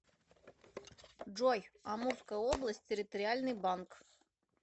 джой амурская область территориальный банк